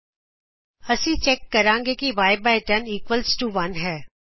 ਇਥੇ ਅਸੀਂ ਚੈਕ ਕਰਾਂਗੇ ਕੀ y 10 ਇਕੁਅਲਜ਼ ਟੋ 1 ਹੈ